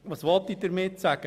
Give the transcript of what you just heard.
Was will ich damit sagen?